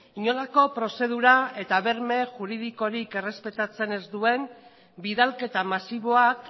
inolako prozedura eta berme juridikorik errespetatzen ez duen bidalketa masiboak